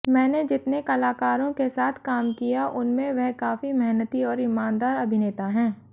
मैंने जितने कलाकारों के साथ काम किया उनमें वह काफी मेहनती और ईमानदार अभिनेता हैं